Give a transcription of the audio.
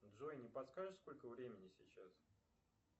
джой не подскажешь сколько времени сейчас